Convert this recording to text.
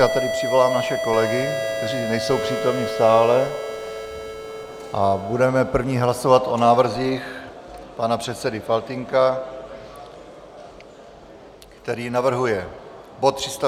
Já tedy přivolám naše kolegy, kteří nejsou přítomni v sále, a budeme první hlasovat o návrzích pana předsedy Faltýnka, který navrhuje bod 356, tisk 805 - změna...